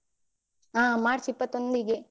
ಹ ಮಾರ್ಚ್ ಇಪ್ಪತ್ತೊಂದಿಗೆ.